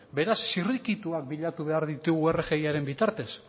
beraz zirrikituak bilatu behar ditugu rgiaren bitartez